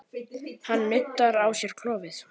Hann nuddar á sér klofið.